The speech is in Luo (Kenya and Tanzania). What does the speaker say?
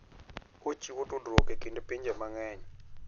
Ochiwo tudruok e kind pinje mang'eny.